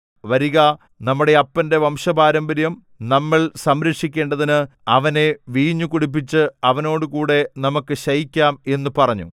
വരിക നമ്മുടെ അപ്പന്റെ വംശപാരമ്പര്യം നമ്മൾ സംരക്ഷിക്കേണ്ടതിന് അവനെ വീഞ്ഞുകുടിപ്പിച്ച് അവനോടുകൂടെ നമുക്ക് ശയിക്കാം എന്നു പറഞ്ഞു